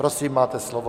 Prosím, máte slovo.